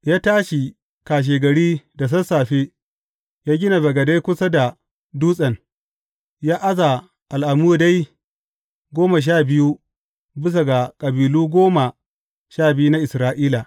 Ya tashi kashegari da sassafe ya gina bagade kusa da dutsen, ya aza al’amudai goma sha biyu bisa ga kabilu goma sha biyu na Isra’ila.